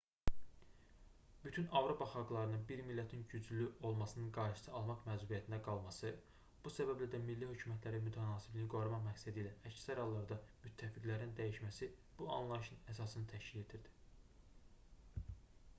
bütün avropa xalqlarının bir millətin güclü olmasının qarşısını almaq məcburiyyətində qalması bu səbəblə də milli hökumətlərin mütənasibliyi qorumaq məqsədilə əksər hallarda müttəfiqlərini dəyişməsi bu anlayışın əsasını təşkil edirdi